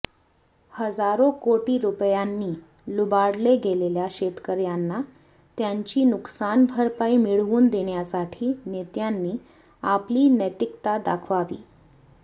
हजारो कोटी रुपयांनी लुबाडले गेलेल्या शेतकऱ्यांना त्यांची नुकसान भरपाई मिळवून देण्यासाठी नेत्यांनी आपली नैतिकता दाखवावी